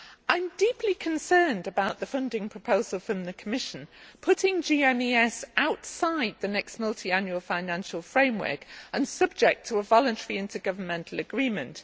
I am deeply concerned about the funding proposal from the Commission putting GMES outside the next Multiannual Financial Framework and making it subject to a voluntary intergovernmental agreement.